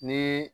Ni